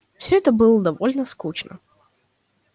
все это было довольно скучно